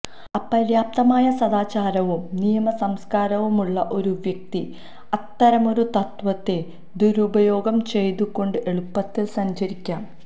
അപര്യാപ്തമായ സദാചാരവും നിയമ സംസ്കാരവുമുള്ള ഒരു വ്യക്തി അത്തരമൊരു തത്വത്തെ ദുരുപയോഗം ചെയ്തുകൊണ്ട് എളുപ്പത്തിൽ സഞ്ചരിക്കാം